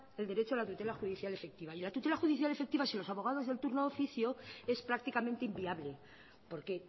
el derecho a la tutela judicial efectiva y la tutela judicial efectiva sin los abogados del turno de oficio es prácticamente inviable porque